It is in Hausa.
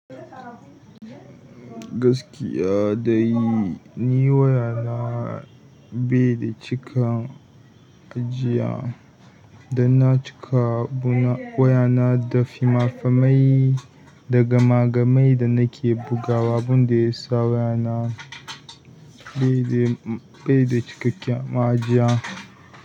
Gaskiya dai, ni wayana bai da cika, kajiya. Danna cika wayana da finafinai da gama gamai da nake bugawa, bun da ya sa wayana bai da cikakken ma ajiya.